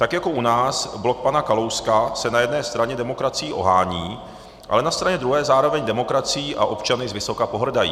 Tak jako u nás blok pana Kalouska se na jedné straně demokracií ohání, ale na straně druhé zároveň demokracií a občany zvysoka pohrdají.